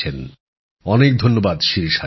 অনেক অনেক ধন্যবাদ শিরিষা জি